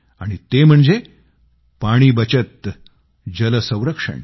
आणि ते म्हणजे पाणी बचत जल संरक्षण